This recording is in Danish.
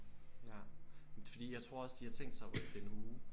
Ja men det fordi jeg tror også de har tænkt sig at rykke det en uge